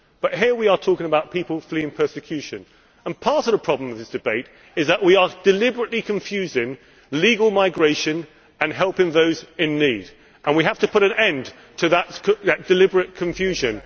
Here we are talking about people fleeing persecution, and part of the problem of this debate is that we are deliberately confusing legal migration and helping those in need, and we have to put an end to that deliberate confusion.